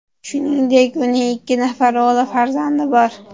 Shuningdek, uning ikki nafar o‘g‘il farzandi bor.